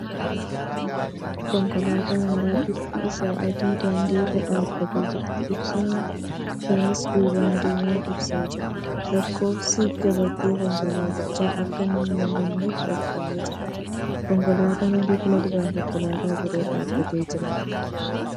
Konkolaataa haaraa bifti ishee adiin daandii irra dhaabbattee jirti. Ibsaan ishees duuban diimaa ibsaa jira. Lakkoofsi gabatee konkolaatichaa akka hin mul'anneef dhokfamee jira. Konkolaataa adii fuuldura konkolaataan biroo dhaabbatee jira.